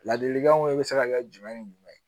Ladilikanw bɛ se ka kɛ jumɛn ni jumɛn ye